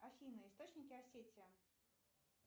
афина источники осетия